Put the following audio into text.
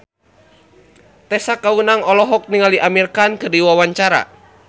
Tessa Kaunang olohok ningali Amir Khan keur diwawancara